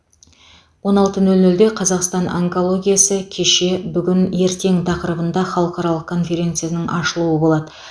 он алты нөл нөлде қазақстан онкологиясы кеше бүгін ертең тақырыбында халықаралық конференцияның ашылуы болады